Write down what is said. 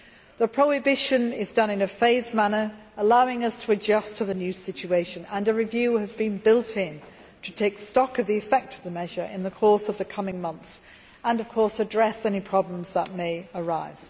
The prohibition is taking place in a phased manner, allowing us to adjust to the new situation, and a review has been built in to take stock of the effect of the measure in the course of the coming months and address any problems that may arise.